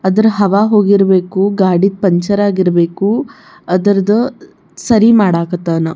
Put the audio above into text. ಅದ್ರ ಹವಾ ಹೋಗಿರಬೇಕು ಗಾಡಿ ಪಂಚರ್ ಆಗಿರಬೇಕು ಅದ್ರದ ಸರಿ ಮಾಡಕತ್ತನ್.